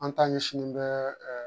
An ta ɲɛsin bɛ ɛ